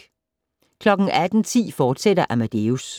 18:10: Amadeus, fortsat